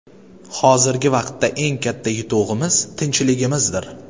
Hozirgi vaqtda eng katta yutug‘imiz – tinchligimizdir.